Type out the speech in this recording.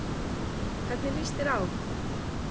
Hvernig líst þér á?